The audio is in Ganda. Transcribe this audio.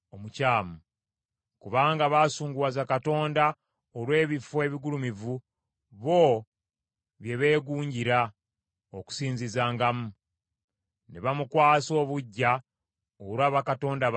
Kubanga baasunguwaza Katonda olw’ebifo ebigulumivu bo bye beegunjira okusinzizangamu, ne bamukwasa obuggya olwa bakatonda baabwe abalala.